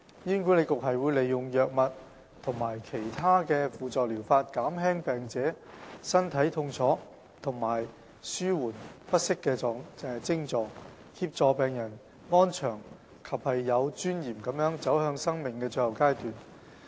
醫管局會利用藥物及其他輔助療法，減輕病者身體痛楚和紓緩不適徵狀，協助病人安詳及有尊嚴地走向生命的最後階段。